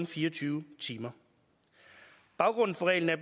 fire og tyve timer baggrunden for reglen er